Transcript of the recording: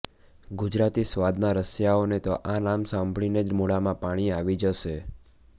ગુજરાતી સ્વાદના રસિયાઓને તો આ નામ સાંભળીને જ મોઢામાં પાણી આવી જશે